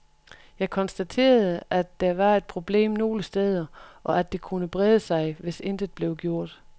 Jeg konstaterede, at der var et problem nogle steder, og at det kunne brede sig, hvis intet blev gjort.